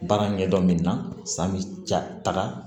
Baara ɲɛdɔn min na san bi jataga